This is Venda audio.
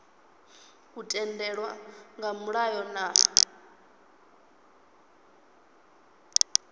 u tendelwa nga mulayo na